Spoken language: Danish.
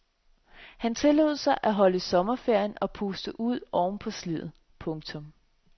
Han tillod sig at holde lidt sommerferie og puste ud ovenpå sliddet. punktum